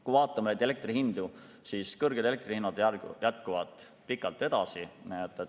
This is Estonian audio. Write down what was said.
Kui vaatame elektri hindu, siis kõrged hinnad püsivad pikalt.